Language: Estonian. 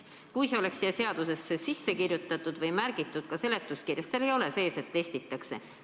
Kui see oleks seadusesse sisse kirjutatud või seletuskirjas ära märgitud – aga seal ei ole öeldud, et testitakse.